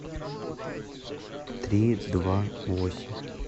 три два восемь